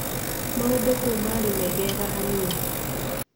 Maũndũ kũu maarĩ megega hanini.